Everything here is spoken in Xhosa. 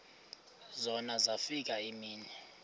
zona zafika iimini